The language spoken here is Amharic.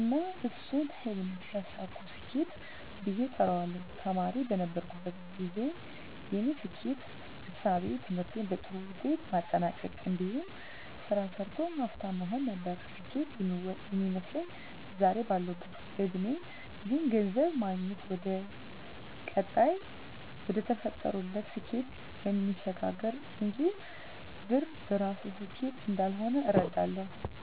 እና እሱን ህልም ሲያሳኩ ስኬት ብየ እጠራዋለሁ። ተማሪ በነበርኩበት ግዜ የኔ ስኬት እሳቤ ትምህርቴን በጥሩ ውጤት ማጠናቅ እንዲሁም ስራ ሰርቶ ሀፍታም መሆን ነበር ስኬት ሚመስለኝ። ዛሬ ባለሁበት እድሜ ግን ገንዘብ ማግኘት ወደቀጣይና ወደተፈጠሩለት ስኬት እሚያሸጋግር እንጅ ብር በራሱ ስኬት እንዳልሆነ እረዳለሁ።